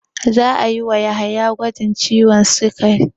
Za a yi wa Yahaya gwajin ciwon sikari.